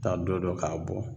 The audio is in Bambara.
Taa don dɔ k'a bɔ